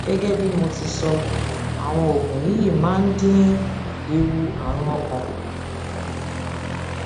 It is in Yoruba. gẹgẹ bí mo ti sọ àwọn oògùn yìí máa oògùn yìí máa ń dín ewu àrùn ọkàn kù